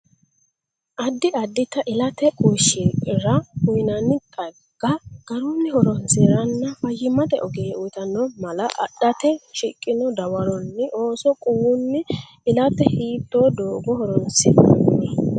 Addi addita ilate quwishshira uynanni xagga garunni horonsi’ranna fayyimate ogeeyye uytanno mala adhate shiqino dawaroni Ooso quwunni ilate hiittoo doogo horonsi’nanni?